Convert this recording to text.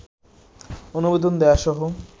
অনুমোদন দেয়াসহ